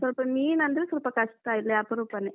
ಸ್ವಲ್ಪ ಮೀನಂದ್ರೆ ಸ್ವಲ್ಪ ಕಷ್ಟ ಇಲ್ಲಿ ಅಪರೂಪನೇ.